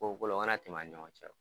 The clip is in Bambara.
Ko kolon mana tɛmɛ ani ɲɔgɔn cɛ.